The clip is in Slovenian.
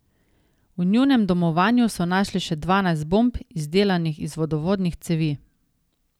V njunem domovanju so našli še dvanajst bomb, izdelanih iz vodovodnih cevi.